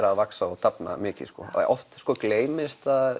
að vaxa og dafna mikið oft gleymist það